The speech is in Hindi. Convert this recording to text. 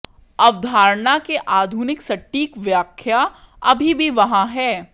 अवधारणा के आधुनिक सटीक व्याख्या अभी भी वहाँ है